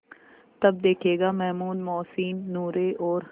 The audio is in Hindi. तब देखेगा महमूद मोहसिन नूरे और